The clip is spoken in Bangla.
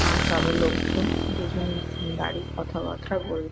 আর সবাই লোকজন দুজন দাঁড়িয়ে কথাবার্তা বল--